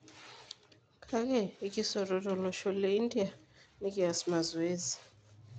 Kake ikisoto tolosho le India na nikias mazoezi.